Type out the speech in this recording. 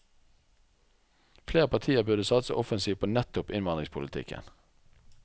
Flere partier burde satse offensivt på nettopp innvandringspolitikken.